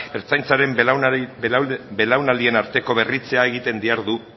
ertzaintzaren belaunaldien arteko berritzea egiten dihardu